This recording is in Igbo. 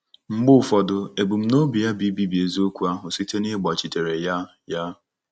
Mgbe ụfọdụ, ebumnobi ya bụ ibibi eziokwu ahụ site n'ịgbachitere ya.” ya.”